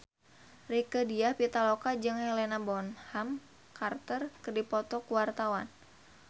Rieke Diah Pitaloka jeung Helena Bonham Carter keur dipoto ku wartawan